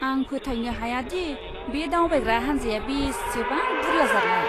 आं फोथायनो हायादि बे दावबायग्रा हानजाया बेसेबां बुरला जारला।